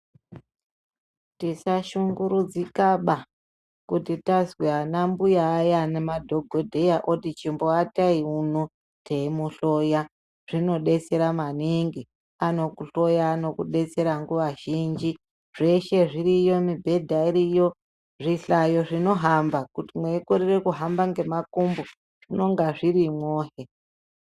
Tisashungurudzikaba kuti tazwa ana mbuya aya ana madhogodheya ati chimboatai muno teimuhloya. Zvinobetsera maningi anokuhloya anokubetsera nguva zvinji. Zveshe zviriyo mibhedha iriyo zvihlayo zvinohamba kuti muikorere kuhamba nemakumbo zvinonga zvirimwohe.